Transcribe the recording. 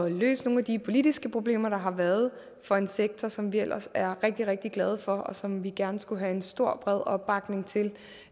at løse nogle af de politiske problemer der har været for en sektor som vi ellers er rigtig rigtig glade for og som vi gerne skulle have en stor bred opbakning til